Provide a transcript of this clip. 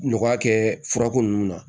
Nɔgɔya kɛ furako nunnu na